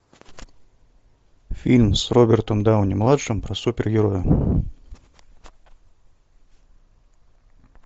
фильм с робертом дауни младшим про супергероя